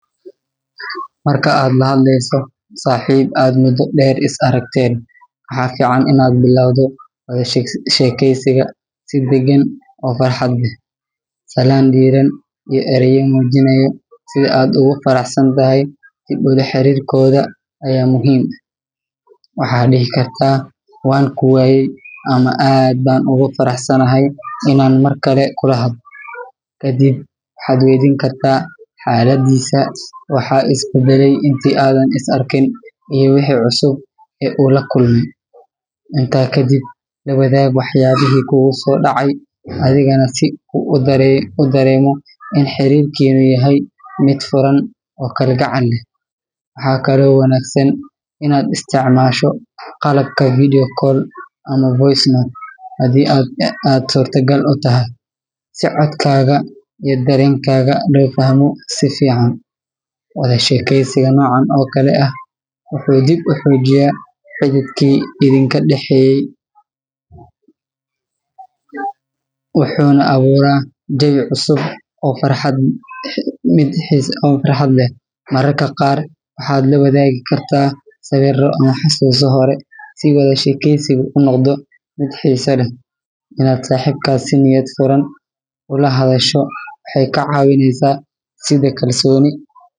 Marka aad la hadleyso saaxiib aad muddo dheer is aragteen, waxaa fiican in aad bilowdo wada sheekeysiga si deggan oo farxad leh. Salaan diirran iyo erayo muujinaya sida aad ugu faraxsan tahay dib ula xiriirkooda ayaa muhiim ah. Waxaad dhihi kartaa “waan ku waayey” ama “aad baan ugu faraxsanahay inaan mar kale kula hadlo.” Ka dib, waxaad waydiin kartaa xaaladdiisa, waxa iska beddelay intii aadan is arkin, iyo wixii cusub ee uu la kulmay. Intaa ka dib, la wadaag waxyaabihii kugu soo dhacay adigana, si uu u dareemo in xiriirkiinnu yahay mid furan oo kalgacal leh. Waxaa kaloo wanaagsan inaad isticmaasho qalabka video call ama voice note haddii aad suurtagal u tahay, si codkaaga iyo dareenkaaga loo fahmo si fiican. Wada sheekaysiga noocan oo kale ah wuxuu dib u xoojiyaa xidhiidhkii idinka dhaxeeyay wuxuuna abuuraa jawi cusub oo farxad leh. Mararka qaar waxaad la wadaagi kartaa sawirro ama xusuuso hore si wada sheekeysigu u noqdo mid xiiso leh. Inaad saaxiibkaa si niyad furan ula hadasho waxay kaa caawineysaa dhisidda kalsooni.